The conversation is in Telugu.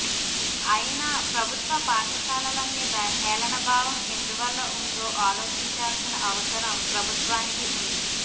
అయి న ప్రభుత్వ పాఠశాలల మీద హేళనభావం ఎందువల్ల ఉందో ఆలో చించాల్సిన అవసరం ప్రభుత్వానికిఉంది